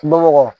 Bamakɔ